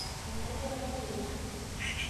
menyaanyukie olalikioroni